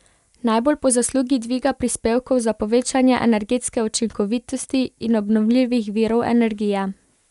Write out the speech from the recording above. Najbolj po zaslugi dviga prispevkov za povečevanje energetske učinkovitosti in obnovljivih virov energije.